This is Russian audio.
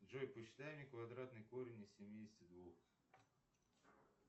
джой посчитай мне квадратный корень из семидесяти двух